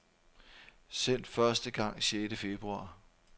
Sendt første gang sjette februar.